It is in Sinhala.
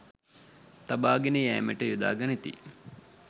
තබාගෙන යෑමට යොදා ගනිති